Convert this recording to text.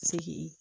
Segin